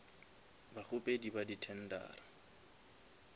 bakgopedi ba di tendera